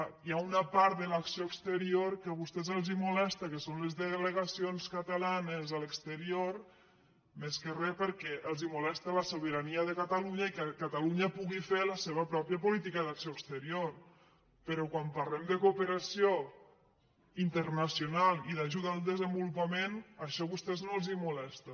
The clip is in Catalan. és clar hi ha una part de l’acció exterior que a vostès els molesta que són les delegacions catalanes a l’exterior més que res perquè els molesta la sobirania de catalunya i que catalunya pugui fer la seva pròpia política d’acció exterior però quan parlem de cooperació internacional i d’ajuda al desenvolupament això a vostès no els molesta